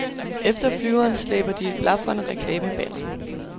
Efter flyveren slæber de et blafrende reklamebanner.